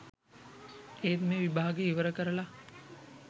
ඒත් මේ විභාගේ ඉවර කරල